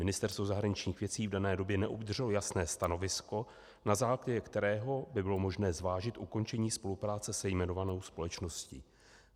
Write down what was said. Ministerstvo zahraničních věcí v dané době neobdrželo jasné stanovisko, na základě kterého by bylo možné zvážit ukončení spolupráce se jmenovanou společností."